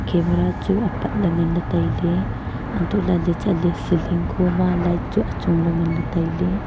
camera chu apatley nganley tailey antolaley chatley ceiling khoma light chu achong la nganley tailey.